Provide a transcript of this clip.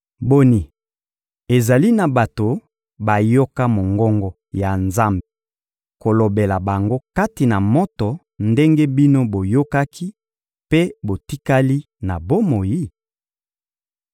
Boni, ezali na bato bayoka mongongo ya Nzambe kolobela bango kati na moto ndenge bino boyokaki mpe botikali na bomoi?